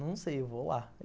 Não sei, eu vou lá.